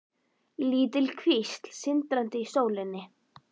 Lítil kvísl sindraði í sólinni.